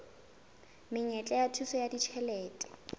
menyetla ya thuso ya ditjhelete